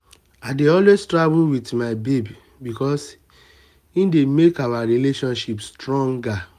i dey always travel wit my babe because e dey make our relationship stronger.